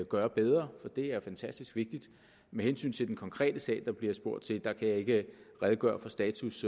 gøre bedre for det er fantastisk vigtigt med hensyn til den konkrete sag der bliver spurgt til kan jeg ikke redegøre for status